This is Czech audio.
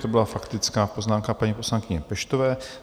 To byla faktická poznámka paní poslankyně Peštové.